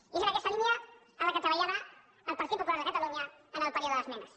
i és en aquesta línia en la que treballarà el partit popular de catalunya en el període d’esmenes